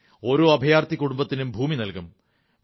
ഓരോ അഭയാർഥി കുടുംബത്തിനും ഭൂമി നല്കും